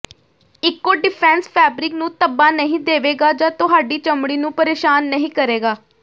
eco defence fabric ਨੂੰ ਧੱਬਾ ਨਹੀਂ ਦੇਵੇਗਾ ਜਾਂ ਤੁਹਾਡੀ ਚਮੜੀ ਨੂੰ ਪਰੇਸ਼ਾਨ ਨਹੀਂ ਕਰੇਗਾ